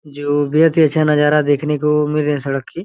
जो बेहत ही अच्छा नजारा देखने को मिल रही सड़क की --